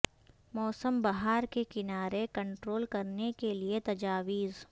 موسم بہار کے کنارے کنٹرول کرنے کے لئے تجاویز